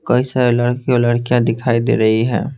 कई सारे लडकी और लडकीया दिखाई दे रही है।